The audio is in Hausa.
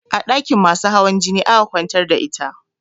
A ɗakin masu hawan jini aka kwantar da ita